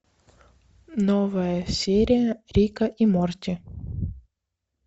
новая серия рика и морти